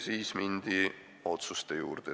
Siis mindi otsuste juurde.